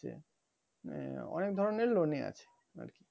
মানে অনেক ধরণের loan আছে আর কি